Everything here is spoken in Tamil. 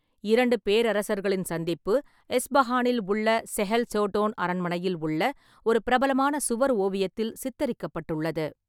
இரண்டு பேரரசர்களின் சந்திப்பு எஸ்ஃபஹானில் உள்ள செஹெல் சோடோன் அரண்மனையில் உள்ள ஒரு பிரபலமான சுவர் ஓவியத்தில் சித்தரிக்கப்பட்டுள்ளது.